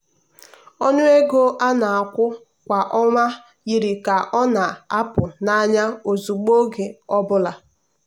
ọnụ ego a na-akwụ kwa ọnwa yiri ka ọ na-apụ n'anya ozugbo oge ọ bụla.